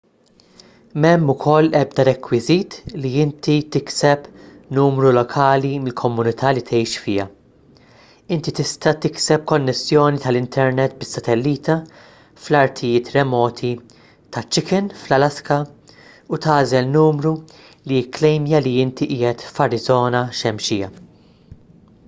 m'hemm ukoll ebda rekwiżit li inti tikseb numru lokali mill-komunità li tgħix fiha inti tista' tikseb konnessjoni tal-internet bis-satellita fl-artijiet remoti ta' chicken fl-alaska u tagħżel numru li jikklejmja li inti qiegħed f'arizona xemxija